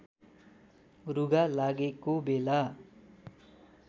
रुघा लागेको बेला